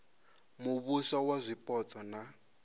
muvhuso wa zwipotso na u